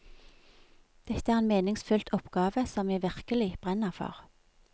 Dette er en meningsfylt oppgave som jeg virkelig brenner for.